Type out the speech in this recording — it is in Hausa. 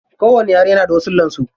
Kowani yare na da wasullan su.